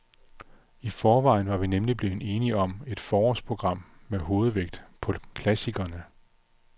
I forvejen var vi nemlig blevet enige om et forårsprogram med hovedvægt på klassikerne.